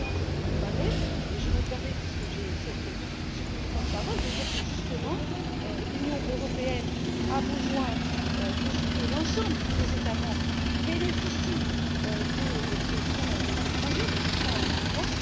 C'est bien ce dont on parlait et je me permets, puisque j'ai ce petit temps de parole, de dire que, justement, l'Union européenne a besoin de ce que l'ensemble des États membres bénéficient de ces projets, de ce Fonds d'investissement.